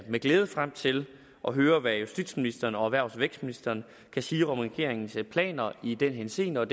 med glæde frem til at høre hvad justitsministeren og erhvervs og vækstministeren kan sige om regeringens planer i den henseende og